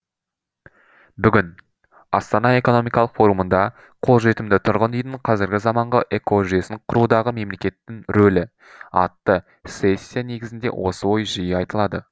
бүгін астана экономикалық форумында қолжетімді тұрғын үйдің қазіргі заманғы экожүйесін құрудағы мемлекеттің рөлі атты сессия негізінде осы ой жиі айтылады